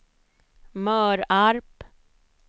Mörarp